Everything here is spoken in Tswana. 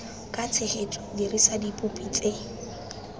ka tshegetso dirisa dipopi tse